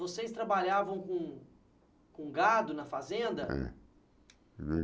Vocês trabalhavam com com gado na fazenda?